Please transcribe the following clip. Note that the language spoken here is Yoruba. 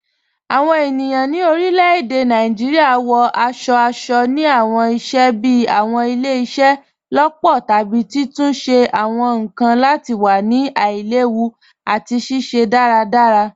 Awọn ènìyàn ni orílẹ̀-èdè Nàìjíríà wọ̀ aṣọ̀-aṣọ̀ ni awọn ìṣẹ̀ bíí awọn ìlẹ̀-ìṣẹ̀-lọpọ̀ tàbí títúnṣẹ̀ awọn nkan lati wà ni aìlèwú àti ṣiṣẹ̀ daradara.